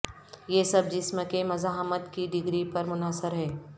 یہ سب جسم کے مزاحمت کی ڈگری پر منحصر ہے